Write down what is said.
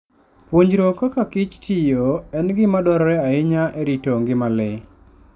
Puonjruok kaka kich tiyo en gima dwarore ahinya e rito ngima le.